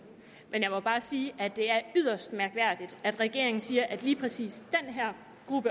jeg må bare sige at det er yderst mærkværdigt at regeringen siger at for lige præcis den her